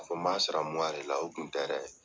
K'a fɔ ko m'a sara de la o kun tɛ dɛ.